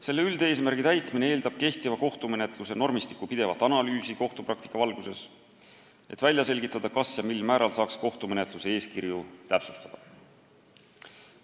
Selle üldeesmärgi täitmine eeldab kehtiva kohtumenetluse normistiku pidevat analüüsi kohtupraktika valguses, et välja selgitada, mil määral saaks kohtumenetluse eeskirju täpsustada.